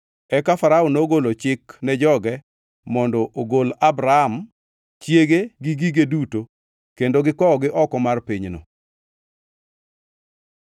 Eka Farao nogolo chik ne joge mondo ogol Abram, chiege gi gige duto kendo gikowogi oko mar pinyno.